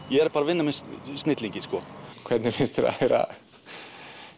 ég er að vinna með snillingi sko hvernig finnst þér að heyra